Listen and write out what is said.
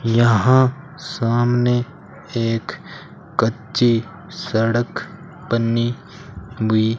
यहां सामने एक कच्ची सड़क बनी हुई --